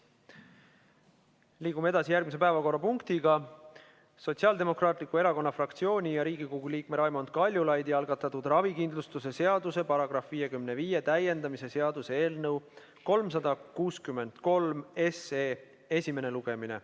Liigume edasi järgmise päevakorrapunkti juurde: Sotsiaaldemokraatliku Erakonna fraktsiooni ja Riigikogu liikme Raimond Kaljulaidi algatatud ravikindlustuse seaduse § 55 täiendamise seaduse eelnõu 363 esimene lugemine.